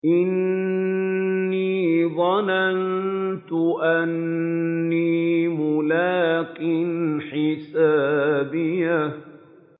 إِنِّي ظَنَنتُ أَنِّي مُلَاقٍ حِسَابِيَهْ